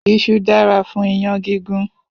Isu dára fún iyán gígún.